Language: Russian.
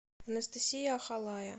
анастасия ахалая